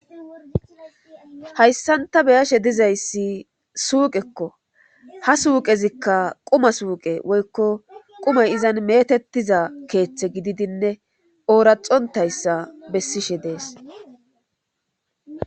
hayssanta beyashe dizayssi suuqekko ha suuqezikka quma suuqe woykko qumay izan metettiza keeththe gididinne ooraxontayssa bessishe dees